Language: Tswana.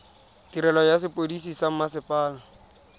tirelo ya sepodisi sa mmasepala